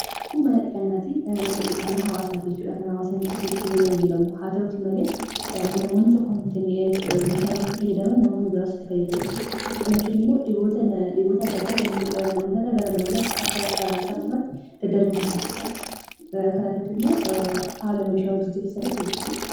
Kun mana dhiqannaati. Mana dhiqannaa hawaasaati jechuudha. Kan hawaasni dhufee itti tajaajilamu, haa ta'uuti malee namoonni tokko meeshaalee itti fayyadaman namoonni biraas itti fayyadamu jechuudha. Kana jechuun ammoo dhiboota adda addaa, namootarraa gara namootaatti akka salphumatti dadarbu ni taasisa kanarratti ammoo haala meeshaa wal jijjiirinsaarratti hojjachuu qaba.